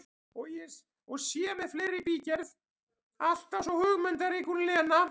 Og sé með fleira í bígerð, alltaf svo hugmyndarík hún Lena!